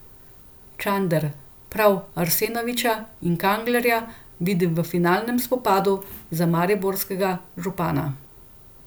Čander prav Arsenoviča in Kanglerja vidi v finalnem spopadu za mariborskega župana.